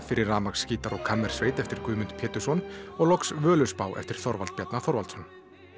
fyrir rafmagnsgítar og kammersveit eftir Guðmund Pétursson og loks Völuspá eftir Þorvald Bjarna Þorvaldsson